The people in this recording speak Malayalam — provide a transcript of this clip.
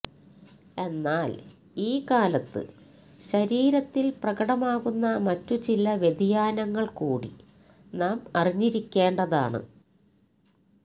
എന്നാൽ ഈ കാലത്ത് ശരീരത്തിൽ പ്രകടമാകുന്ന മറ്റുചില വ്യതിയാനങ്ങൾകൂടി നാം അറിഞ്ഞിരിക്കേണ്ടതാണ്